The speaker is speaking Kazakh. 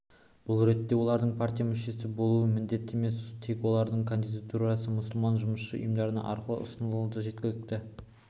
бұл ретте олардың партия мүшесі болуы міндетті емес тек олардың кандидатурасы мұсылман жұмысшы ұйымдары арқылы ұсынылса жеткілікті